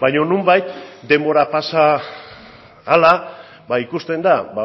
baino nonbait denbora pasa ahala ba ikusten da ba